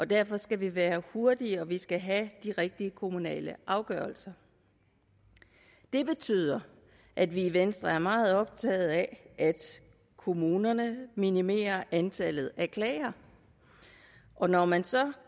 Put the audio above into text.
derfor skal vi være hurtige og vi skal have de rigtige kommunale afgørelser det betyder at vi i venstre er meget optaget af at kommunerne minimerer antallet af klager og når man så